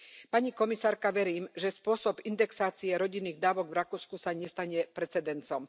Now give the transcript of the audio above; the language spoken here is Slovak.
Pani komisárka, verím, že spôsob indexácie rodinných dávok v Rakúsku sa nestane precedensom.